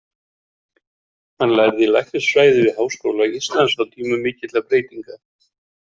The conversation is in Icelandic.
Hann lærði læknisfræði við Háskóla Íslands á tímum mikilla breytinga.